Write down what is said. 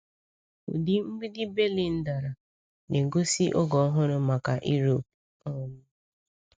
Ụdị mgbidi Berlin dara, na-egosi oge ọhụrụ maka Europe. um